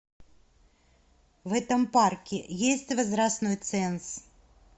в этом парке есть возрастной ценз